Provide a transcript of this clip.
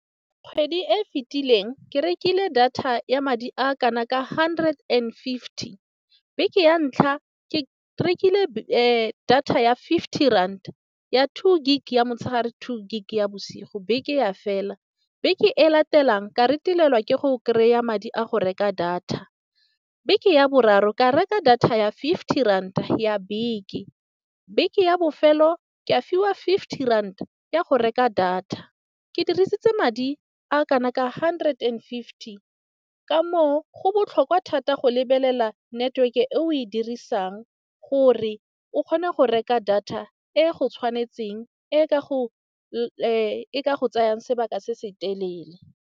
Kgwedi e e fetileng ke rekile data ya madi a kana ka hundred and fifty, beke ya ntlha ke rekile data ya fifty rand ya two gig ya motshegare, two gig ya bosigo, beke ya fela. Beke e latelang ka retelelwa ke go kry-a madi a go reka data. Beke ya boraro ka reka data ya fifty ranta ya beke. Beke ya bofelo ke a fiwa fifty ranta ya go reka data. Ke dirisitse madi a kana ka hundred and fifty ka moo, go botlhokwa thata go lebelela network e o e dirisang gore o kgone go reka data e go tshwanetseng e ka go e tsayang sebaka se se telele.